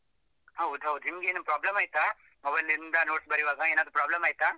ಹೌದು ನಿಮ್ಗೆನು problem ಆಯ್ತಾ? mobile ಇಂದ notes ಬರೆಯುವಾಗ ಏನಾದ್ರು problem ಆಯ್ತಾ?